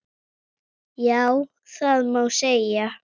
Já, það má segja.